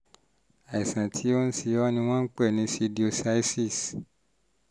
àìsàn tó ń ṣe ẹ́ ni wọ́n ń pè ní pseudocyesis